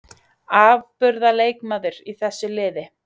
Afburðar leikmaður í þessu liði.